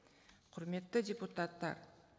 құрметті депутаттар